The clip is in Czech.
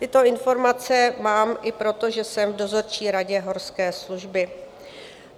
Tyto informace mám i proto, že jsem v dozorčí radě Horské služby.